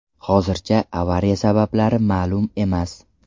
Hozircha avariya sabablari ma’lum emas.